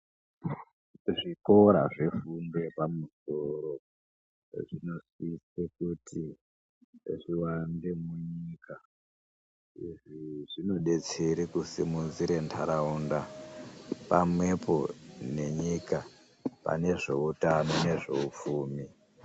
Zvikora zvefundo yepamusoro zvinosise kuti zviwande munyika. Izvi zvinodetsere kusimudzire ntaraunda pamwepo nenyika pane zveutano neupfumi.